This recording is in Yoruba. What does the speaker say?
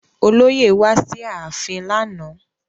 Olóyè wá sí ààfin lánàá